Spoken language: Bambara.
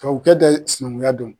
Tubabu kɛ tɛ sinankunya don.